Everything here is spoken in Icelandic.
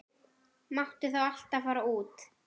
Máttu þá alltaf fara út?